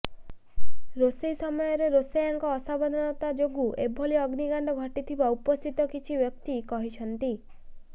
ରୋଷେଇ ସମୟରେ ରୋଷେୟାଙ୍କ ଅସାବଧାନତା ଯୋଗୁଁ ଏଭଳି ଅଗ୍ନିକାଣ୍ଡ ଘଟିଥିବା ଉପସ୍ଥିତ କିଛି ବ୍ୟକ୍ତି କହିଛନ୍ତି